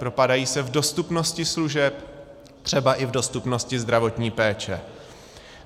Propadají se v dostupnosti služeb, třeba i v dostupnosti zdravotní péče.